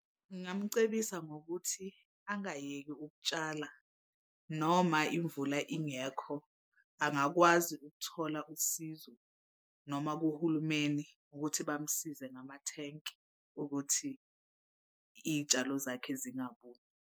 Ngingamcebisa ngokuthi angayeki ukutshala noma imvula ingekho angakwazi ukuthola usizo noma kuhulumeni ukuthi bamsize ngamathenki ukuthi iy'tshalo zakhe zingabuni.